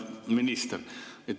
Hea minister!